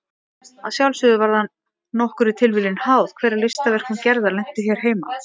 Að sjálfsögðu var það nokkurri tilviljun háð hver af listaverkum Gerðar lentu hér heima.